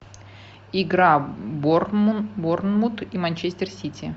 игра борнмут и манчестер сити